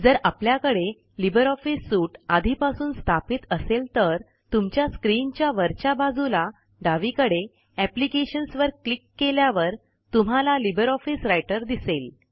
जर आपल्याकडे libre office suite आधीपासून स्थापित असेल तर तुमच्या स्क्रीनच्या वरच्या बाजूला डावीकडे एप्लिकेशन्स वर क्लिक केल्यावर तुम्हाला लिबर ऑफिस रायटर दिसेल